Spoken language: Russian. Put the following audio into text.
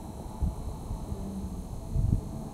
пианист